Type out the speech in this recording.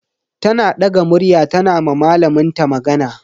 Tana daga murya tana ma malamin ta magana.